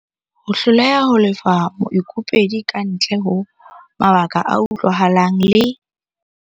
Ho hloleha ho lefa moikopedi kantle ho mabaka a utlwahalang le.